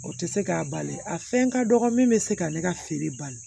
O tɛ se k'a bali a fɛn ka dɔgɔ min bɛ se k'ale ka feere bali